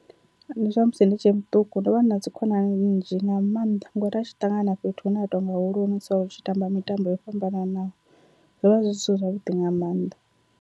Ndi zwa musi ndi tshe muṱuku ndo vha na dzikhonani nnzhi nga maanḓa ngori a tshi ṱangana na fhethu hune ha tonga hoḽoni so ri tshi tamba mitambo yo fhambananaho, zwovha zwi zwithu zwavhuḓi nga maanḓa.